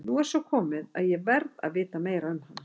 Nú er svo komið að ég verð að vita meira um hana.